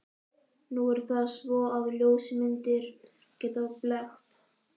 Nú er það svo, að ljósmyndir geta blekkt.